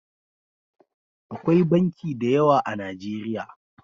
Akwai banki da yawa a najeriya